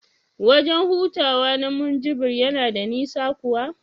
wajen hutawa na Munjibir yana da nisa kuwa?